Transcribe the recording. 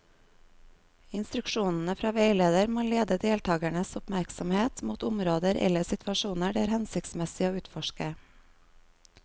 Instruksjonene fra veileder må lede deltakernes oppmerksomhet mot områder eller situasjoner det er hensiktsmessig å utforske.